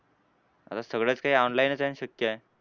आता सगळंच काही online च आहे आणि शक्य आहे.